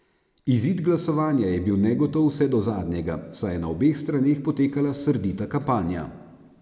Izid glasovanja je bil negotov vse do zadnjega, saj je na obeh straneh potekala srdita kampanja.